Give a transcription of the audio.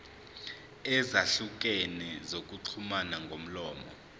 ezahlukene zokuxhumana ngomlomo